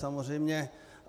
Samozřejmě.